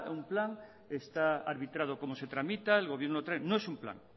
un plan está arbitrado como se tramita el gobierno no es un plan